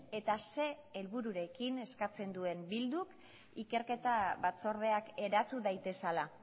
eta ze helbururekin eskatzen duen bilduk ikerketa batzordeak eratu daitezela